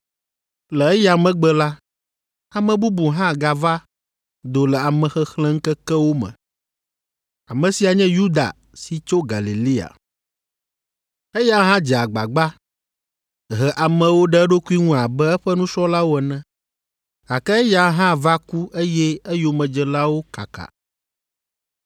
Le eya megbe la, ame bubu hã gava do le amexexlẽŋkekewo me. Ame sia nye Yuda si tso Galilea. Eya hã dze agbagba he amewo ɖe eɖokui ŋu abe eƒe nusrɔ̃lawo ene, gake eya hã va ku eye eyomedzelawo kaka.”